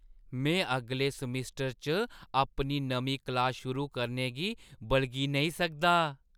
में अगले समैस्टर च अपनी नमीं क्लास शुरू करने गी बलगी नेईं सकदा!